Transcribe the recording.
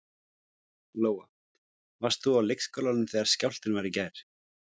Lóa: Varst þú á leikskólanum þegar skjálftinn var í gær?